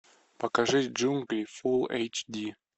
покажи джунгли фул эйч ди